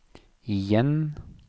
igjen